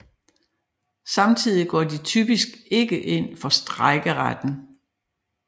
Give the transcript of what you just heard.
Samtidig går de typisk ikke ind for strejkeretten